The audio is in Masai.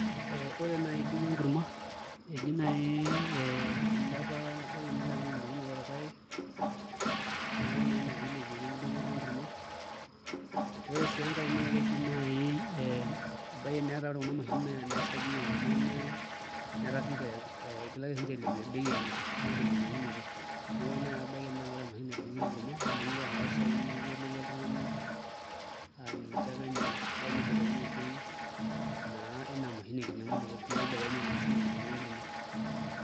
Ore naai bei enkurma eji naai ee ilepa enkinyiang'unoto orpaek neeku naa ina pee ilepieki enkidong'oto enkurma ore sii enkae naa keji naai ebaiki netaa ore kuna mashinini naisagieki enkurma naa igilaki siinche ailepie bei enye naai tenkinying'unoto neeku ebaiki naai naa ore emashini naidong'ieki enkurma meekure aanap[a pisaai niyiolo iyie oltung'ani aa ninche apa emiri ore amu ibelekenye bei naa ina mashini enkinyiang'unoto neeku ibelekenye naa siinye enkidong'otoenkuma.